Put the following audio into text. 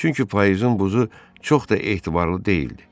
Çünki payızın buzu çox da etibarlı deyildi.